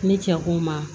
Ne cɛ ko n ma